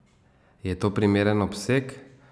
Je to primeren obseg?